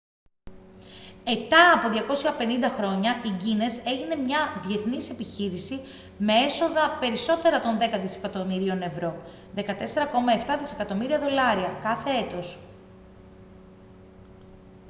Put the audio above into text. ετά από 250 χρόνια η guiness έγινε μια διαθνής επιχείρηση με έσοδα περισσότερα των δέκα δισεκατομμυρίων ευρώ 14.7 δισεκατομμύρια δολάρια κάθε έτος